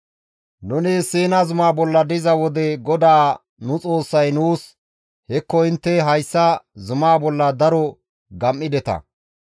«Nuni Siina zumaa bolla diza wode GODAA nu Xoossay nuus, ‹Hekko intte hayssa zuma bolla daro gam7ideta;